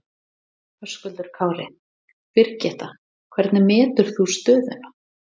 Höskuldur Kári: Birgitta, hvernig metur þú stöðuna?